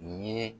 N ye